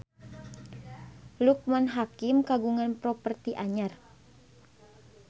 Loekman Hakim kagungan properti anyar